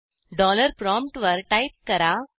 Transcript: dollar प्रॉमप्टवर type करा